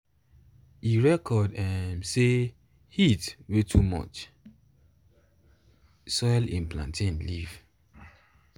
e record um say um heat way too um much soil him plantain leave